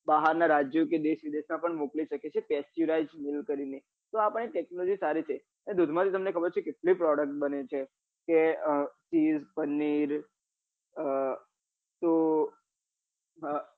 બહાર નાં રાજ્યો કે કે દેશ વિદેશ માં પણ મોકલી સકે છે pasteurize milk કરી ને તો આપડી technology સારી છે એ દૂધ માં થી તમને ખબર છે કેટલી product બને કે અ ખીર પનીર કો અ